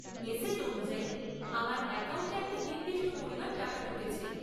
Message অনুযায়ী, আমার অ্যাকাউন্টে একটা নির্দিষ্ট পরিমাণ টাকা ঢুকেছে।